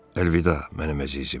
Əlvida, mənim əzizim.